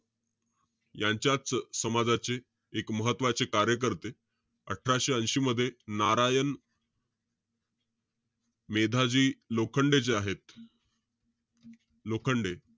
यांच्याच समाजाचे एक महत्वाचे कार्यकर्ते, अठराशे ऐशी मध्ये, नारायण मेधाजी लोखंडे जे आहेत लोखंडे,